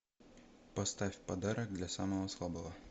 поставь подарок для самого слабого